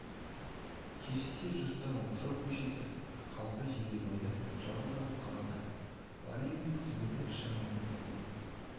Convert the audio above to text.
кешсе жұрттан оқшау көшеді қалса жидебайда жалғыз ауыл қалады бар елдің күтімі де шығыны да бізде